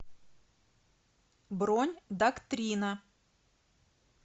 бронь доктрина